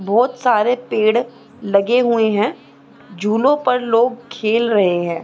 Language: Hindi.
बहुत सारे पेड़ लगे हुए हैं झूलो पर लोग खेल रहे हैं।